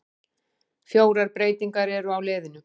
Fjórar breytingar eru á liðinu.